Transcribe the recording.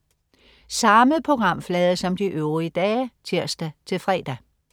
Samme programflade som de øvrige dage (tirs-fre)